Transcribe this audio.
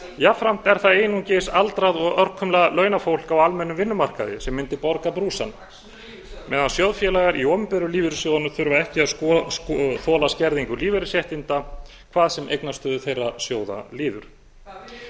jafnframt er það einungis aldrað og örkumla launafólk á almennum vinnumarkaði sem mundi borga brúsann meðan sjóðfélagar í opinberu lífeyrissjóðunum þurfa ekki að þola skerðingu lífeyrisréttinda hvað sem eignastöðu þeirra sjóða líður hvað að gera